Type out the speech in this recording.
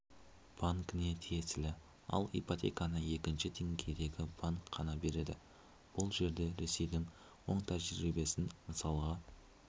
банкіне тиесілі ал ипотеканы екінші деңгейдегі банк қана береді бұл жерде ресейдің оң тәжірибесін мысалға